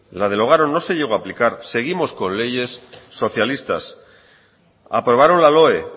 no se llegó a aplicar seguimos con leyes socialistas aprobaron la loe